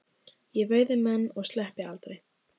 Ég veiði menn og sleppi aldrei.